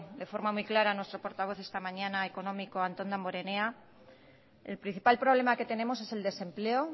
de forma muy clara nuestro portavoz esta mañana económico antón damborenea el principal problema que tenemos es el desempleo